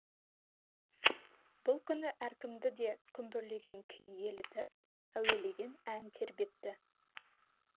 бұл күні әркімді де күмбірлеген күй елітіп әуелеген ән тербетті